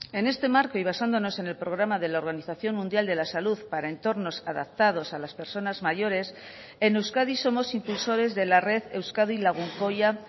en este marco y basándonos en el programa de la organización mundial de la salud para entornos adaptados a las personas mayores en euskadi somos impulsores de la red euskadi lagunkoia